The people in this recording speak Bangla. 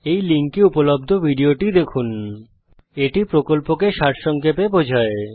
এই লিঙ্কে উপলব্ধ ভিডিওটি দেখুন httpspoken tutorialorgWhat is a Spoken Tutorial এটি প্রকল্পকে সারসংক্ষেপে বোঝায়